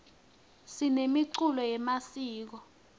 sinemiculo yemasiko